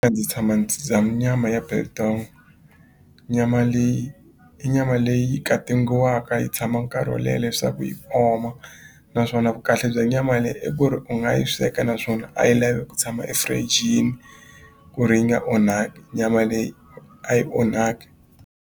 Ndzi tshama dya nyama ya biltong nyama leyi i nyama leyi katingiwaka yi tshama nkarhi wo leha leswaku yi oma naswona vu kahle bya nyama leyi i ku ri u nga yi sweka naswona a yi lavi ku tshama efirijini ku ri yi nga onhaki nyama leyi a yi onhaki.